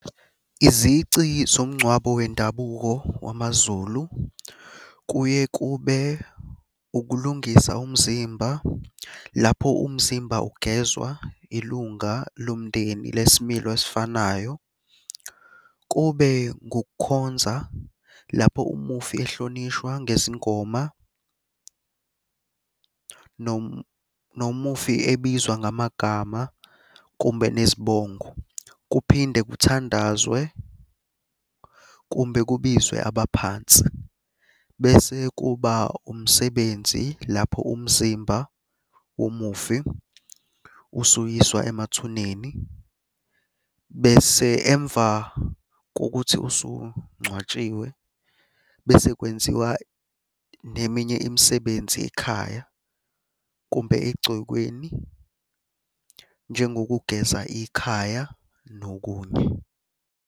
Izici zomngcwabo wendabuko wamaZulu kuye kube ukulungisa umzimba lapho umzimba ugezwa ilunga lomndeni lesimilo esifanayo. Kube ngukukhonza lapho umufi ehlonishwa ngezingoma nomufi ebizwa ngamagama kumbe nezibongo. Kuphinde kuthandazwe kumbe kubizwe abaphansi. Bese kuba umsebenzi lapho umzimba womufi usuyiswa emathuneni, bese emva kokuthi usungcwatshiwe bese kwenziwa neminye imisebenzi ekhaya kumbe egcekeni njengokugeza ikhaya nokunye.